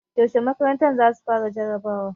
Yaushe makarantar za su fara jarabawa?